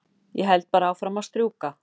Held bara áfram að strjúka.